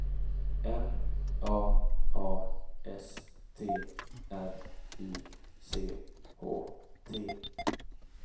M A A S T R I C H T